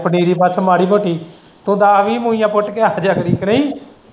ਪਨੀਰੀ ਪੁੱਟ ਮਾੜੀ-ਮੋਟੀ ਤੂੰ ਦੱਸ-ਵੀਹ ਝੂੜੀਆਂ ਪੁੱਟ ਕੇ ਨਈ।